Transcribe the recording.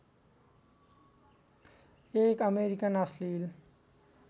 एक अमेरिकन अश्लिल